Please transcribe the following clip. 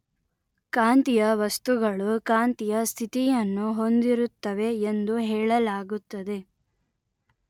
ಕಾಂತೀಯ ವಸ್ತುಗಳು ಕಾಂತೀಯ ಸ್ಥಿತಿ ಯನ್ನು ಹೊಂದಿರುತ್ತವೆ ಎಂದು ಹೇಳಲಾಗುತ್ತದೆ